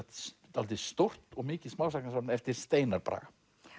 dálítið stórt og mikið smásagnasafn eftir Steinar Braga